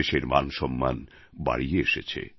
দেশের মানসম্মান বাড়িয়ে এসেছে